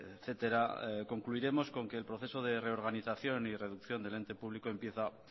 etcétera concluiremos con que el proceso de reorganización y reducción del ente público empieza